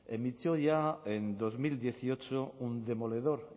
emitió ya en dos mil dieciocho un demoledor